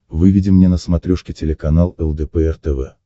выведи мне на смотрешке телеканал лдпр тв